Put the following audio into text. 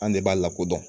An de b'a lakodɔn